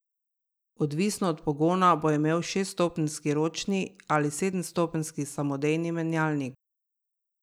Odvisno od pogona bo imel šeststopenjski ročni ali sedemstopenjski samodejni menjalnik.